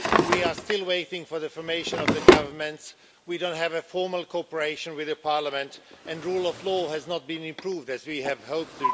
We are still waiting for the formation of the government, we don't have formal cooperation with the Parliament and rule of law has not been improved as we had hoped.